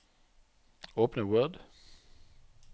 Åpne Word